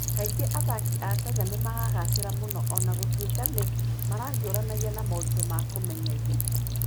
Kaingĩ athaki a Kenya nĩ magagaacĩra mũno o na gũtuĩka nĩ marahiũranagia na moritũ ma kũmenyeria.